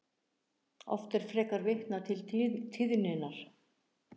Oft er frekar vitnað til tíðninnar.